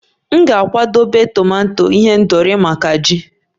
M ga-akwadebe tomato ihendori maka ji